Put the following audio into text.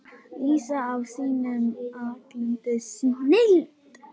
lýsa af sinni alkunnu snilld.